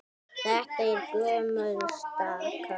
Þetta er gömul staka.